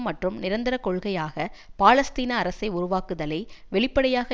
மற்றும் நிரந்தர கொள்கையாக பாலஸ்தீன அரசை உருவாக்குதலை வெளிப்படையாக